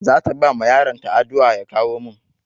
Zata bawa yaron ta adua ya kawo min